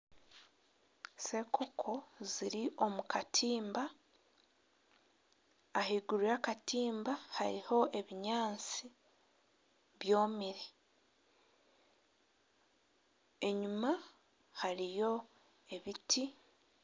Senkoko ziri omu katimba ahiguru y'akatiimba hariho ebinyaatsi byomire enyima hariyo ebiti.